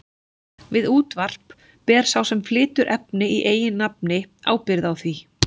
Við útvarp ber sá sem flytur efni í eigin nafni ábyrgð á því.